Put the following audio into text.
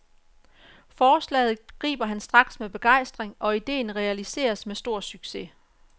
Forslaget griber han straks med begejstring, og idéen realiseres med stor succes.